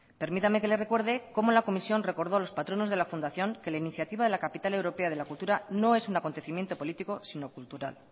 permítame que le recuerde cómo la comisión recordó a los patronos de la fundación que la iniciativa de la capital europea de la cultura no es un acontecimiento político sino cultural